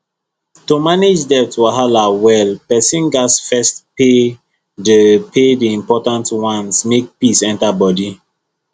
to manage debt wahala well person gats first pay the pay the important ones make peace enter body